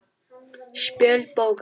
Spjöld bókar